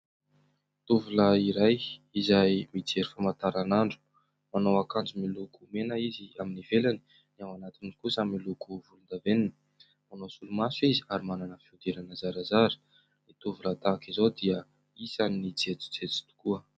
Tovolahy iray izay mijery famantaran'andro, manao akanjo miloko mena izy amin'ny ivelany, ny ao anatiny kosa miloko volondavenona, manao solomaso izy ary manana fihodirana zarazara, ny tovolahy tahak'izao dia isany jejojejo tokoa.